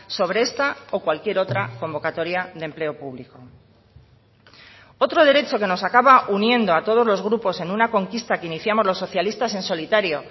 sobre esta o cualquier otra convocatoria de empleo público otro derecho que nos acaba uniendo a todos los grupos en una conquista que iniciamos los socialistas en solitario